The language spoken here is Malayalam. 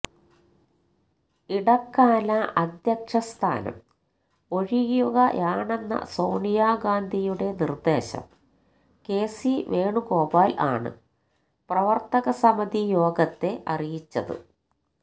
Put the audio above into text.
ഇടക്കാല അദ്ധ്യക്ഷ സ്ഥാനം ഒഴിയുകയാണെന്ന സോണിയ ഗാന്ധിയുടെ നിര്ദ്ദേശം കെസി വേണുഗോപാൽ ആണ് പ്രവര്ത്തക സമിതി യോഗത്തെ അറിയിച്ചത്